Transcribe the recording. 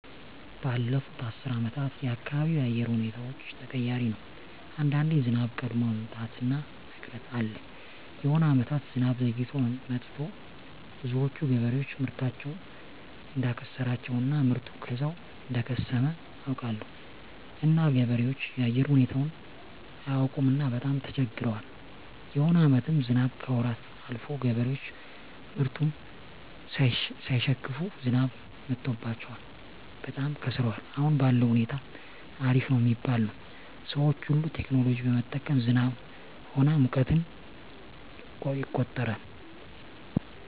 ባለፋት አስር አመታት የአካባቢው የአየር ሁኔታዎች ተቀያሪ ነው አንዳንዴ ዝናብ ቀድሞ መምጣት እና መቅረት አለ የሆነ አመታት ዝናብ ዘግይቶ መጥቱ ብዙዎች ገበሬዎች ምርታቸውን እዳከሰራቸው እና ምርቱ ከዛው እደከሰመ አውቃለሁ እና ገበሬዎች የአየር ሁኔታው አያውቅምና በጣም ተቸግረዋል የሆነ አመታትም ዝናብ ከወራት አልፎ ገበሬዎች ምርቱን ሳይሸክፋ ዝናብ መትቶባቸው በጣም ከስረዋል አሁን ባለዉ ሁኔታ አሪፍ ነው ሚባል ነው ሰዎች ሁሉ ቴክኖሎጂ በመጠቀም ዝናብ ሆነ ሙቀትን ይቆጠራል